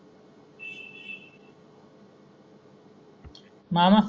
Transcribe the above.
मामा